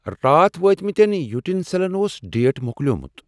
راتھ وٲتۍ مٕتیٚن یوٹین سٮ۪لن اوس ڈیٹ مۄکلیومُت۔